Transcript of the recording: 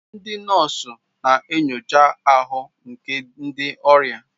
Ndị nọọsụ na-enyocha ahụ nke ndị ọrịa.